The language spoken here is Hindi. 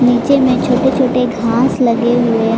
नीचे में छोटे छोटे घास लगे हुए--